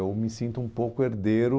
Eu me sinto um pouco herdeiro